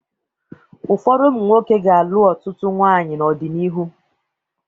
Ụfọdụ ụmụ nwoke ga-alụ ọtụtụ nwaanyị n'ọdịnihu.